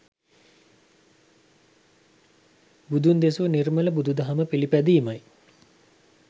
බුදුන් දෙසූ නිර්මල බුදු දහම පිළිපැදීමයි.